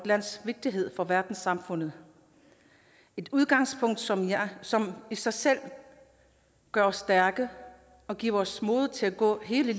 lands vigtighed for verdenssamfundet et udgangspunkt som som i sig selv gør os stærke og giver os mod til at gå hele